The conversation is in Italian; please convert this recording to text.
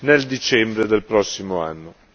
nel dicembre del prossimo anno.